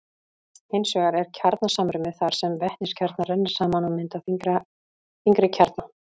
hins vegar er kjarnasamruni þar sem vetniskjarnar renna saman og mynda þyngri kjarna